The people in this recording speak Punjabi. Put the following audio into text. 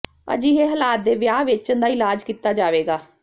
ਅਜਿਹੇ ਹਾਲਾਤ ਦੇ ਵਿਆਹ ਵੇਚਣ ਦਾ ਇਲਾਜ ਕੀਤਾ ਜਾਵੇਗਾ